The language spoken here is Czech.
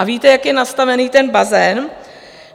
A víte, jak je nastavený ten bazén?